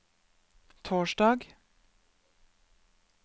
torsdag